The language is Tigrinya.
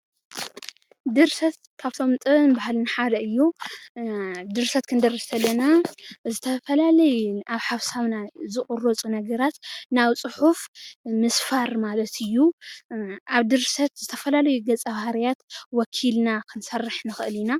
ድርሰት ካብቶም ንጥበብ ን ባህልን ሓደ እዩ ድርሰት ክንደርስ ከለና ዝተፈላለዩ ኣብ ሓሳብና ዝቕረፁ ነገራት ናብ ፅሑፍ ምስፋር ማለት እዩ ኣብ ድርሰት ዝተፈላለዩ ገፀ ባህርያት ወኪልና ክንሰርሕ ንኽእል ኢና።